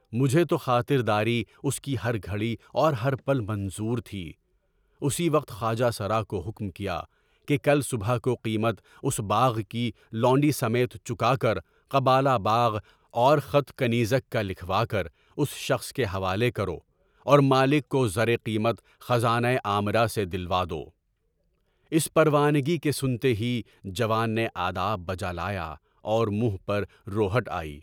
مجھے تو خاطر داری اُس کی ہر گھڑی اور ہر پل منظور تھی، اُسی وقت خواجہ سرا کو حکم کیا کہ کل صبح کو قیمت اُس باغ کی لونڈی سمیت چُکا کر قبضہ باغ اور خط کنیز کا لکھوا کر اس شخص کے حوالے کر اور مالک کو زرِ قیمت خزانۂ عامر سے دلوا دو۔ اس پروانگی کے سنتے ہی جوان نے آداب بحالہ پا اور منہ پر روہٹ آئی۔